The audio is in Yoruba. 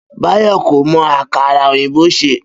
Bayo kò mo àkàrà òyìnbó ṣè